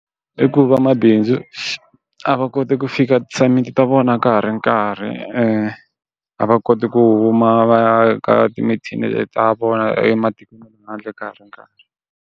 I ku vamabindzu a va koti ku fika ti assignment ta vona ka ha ri nkarhi a va koti ku huma va ya ka ta vona ematikweni ya le handle ka ha ri nkarhi.